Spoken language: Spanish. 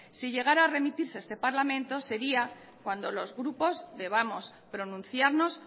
si llegara a remitirse a este parlamento sería cuando los grupos debamos pronunciarnos